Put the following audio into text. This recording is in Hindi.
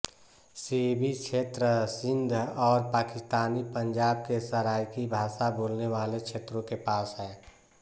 सिबि क्षेत्र सिन्ध और पाकिस्तानी पंजाब के सराइकी भाषा बोलने वाले क्षेत्रों के पास है